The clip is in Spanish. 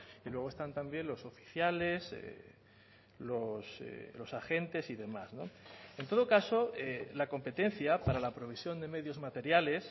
y luego están también los oficiales los agentes y demás en todo caso la competencia para la provisión de medios materiales